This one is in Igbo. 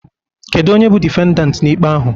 Kedu onye bụ difendant n'ikpe ahụ?